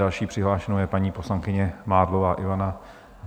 Další přihlášenou je paní poslankyně Mádlová Ivana.